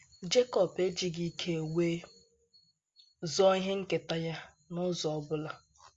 Jekọb ejighị ike wee zoo ihe nketa ya n’ụzọ ọ bụla.